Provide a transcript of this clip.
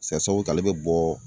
sababu kɛ ale bɛ bɔ.